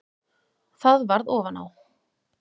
Það varð ofan á.